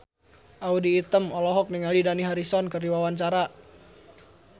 Audy Item olohok ningali Dani Harrison keur diwawancara